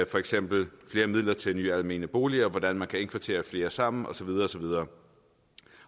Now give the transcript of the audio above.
for eksempel flere midler til nye almene boliger hvordan man kan indkvartere flere sammen og så videre